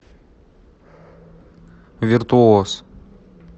виртуоз